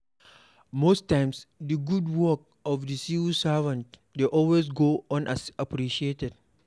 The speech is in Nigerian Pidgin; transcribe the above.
Most times di good work of di civil servant dey always go unappreciated